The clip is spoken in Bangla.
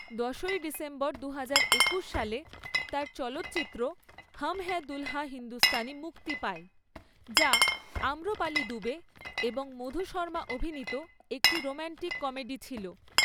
দশই ডিসেম্বর দুহাজার একুশ সালে, তার চলচ্চিত্র হাম হ্যায় দুলহা হিন্দুস্তানি মুক্তি পায়, যা আম্রপালি দুবে এবং মধু শর্মা অভিনীত একটি রোমান্টিক কমেডি ছিল।